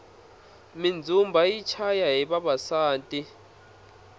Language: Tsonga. mindzumba yi chaya hi vavasati